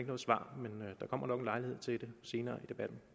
noget svar men der kommer nok en lejlighed til det senere